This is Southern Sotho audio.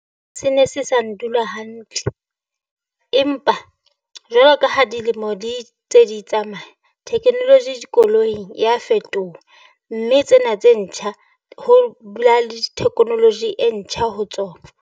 Se ne se sa ndula hantle, empa jwalo ka ha dilemo di tse di tsamaya, technology dikoloing ya fetoha. Mme tsena tse ntjha ho dula le technology e ntjha ho tsona.